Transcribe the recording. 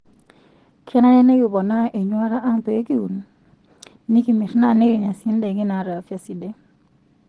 Kenare nikiponaa enyuata ang' pee kiun, nikimirr naa nikinya sii ndaiki naata afya sidai.